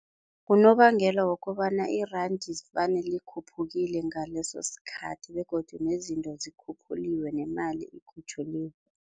Unobangela wokobana iranda vane likhuphukile ngalesosikhathi begodu nezinto zikhuphuliwe nemali ikhutjhwuliwe.